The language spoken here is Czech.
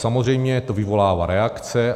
Samozřejmě to vyvolává reakce.